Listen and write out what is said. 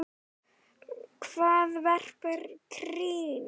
Hvar verpir krían?